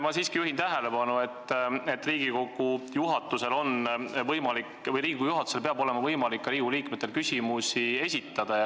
Ma siiski juhin tähelepanu, et Riigikogu liikmetel peab olema võimalik Riigikogu juhatusele küsimusi esitada.